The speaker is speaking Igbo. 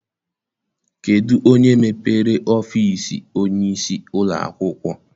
Kedụ onye mepere ọfịịsi onyeisi ụlọakwụkwọ?